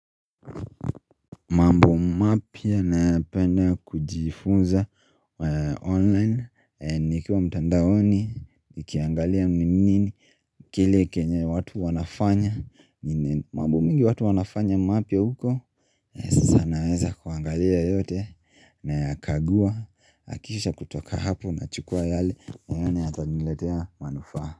Mambo mapya nayapenda kujifunza online nikiwa mtandaoni, nikiangalia ni nini Kile kenye watu wanafanya mambo mingi watu wanafanya mapya huko Sasa naweza kuangalia yote na ya kagua, akisha kutoka hapo na chukua yale naona yataniletea manufaa.